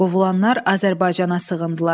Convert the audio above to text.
Qovulanlar Azərbaycana sığındılar.